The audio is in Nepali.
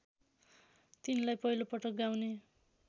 तिनलाई पहिलोपल्ट गाउने